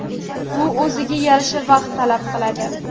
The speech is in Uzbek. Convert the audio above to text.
Bu o‘ziga yarasha vaqt talab qiladi.